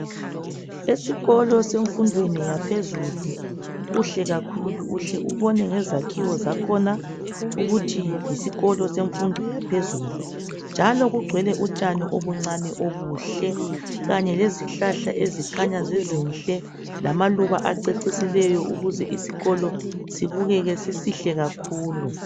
Esikolo semfundweni yaphezulu kuhle kakhulu uhle ubone ngezakhiwo zakhona ukuthi yisikolo semfundo yaphezulu njalo kungcwele utshani obuncane obuhle Kanye lezihlahla ezikhanya zizinhle lamaluba acecisileyo ukuze isikolo sibukeke sisihle kakhulu.